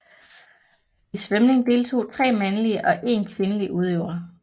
I svømning deltog 3 mandlige og én kvindelig udøvere